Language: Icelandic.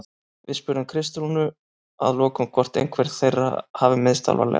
Við spurðum Kristrúnu að lokum hvort einhver þeirra hafi meiðst alvarlega?